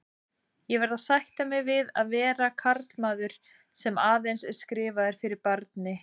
Ég verð að sætta mig við að vera karlmaður, sem aðeins er skrifaður fyrir barni.